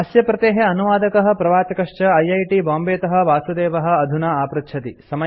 अस्य प्रतेः अनुवादकः प्रवाचकश्च ऐ ऐ टि बांबे तः वासुदेवः अधुना आपृच्छति